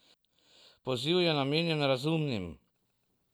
Poziv je namenjen razumnim!